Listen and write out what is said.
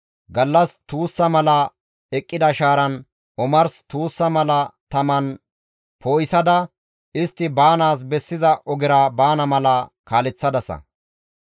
Gallas tuussa mala eqqida shaaran, omarsi tuussa mala taman poo7isada istti baanaas bessiza ogera baana mala kaaleththadasa.